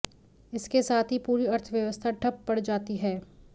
इसके साथ ही पूरी अर्थव्यवस्था ठप पड़ जाती है